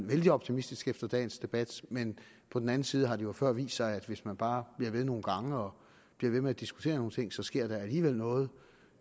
vældig optimistisk efter dagens debat men på den anden side har det jo før vist sig at hvis man bare bliver ved nogle gange og bliver ved med at diskutere nogle ting sker der alligevel noget